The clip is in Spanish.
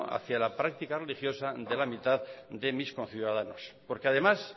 hacia la práctica religiosa de la mitad de mis conciudadanos porque además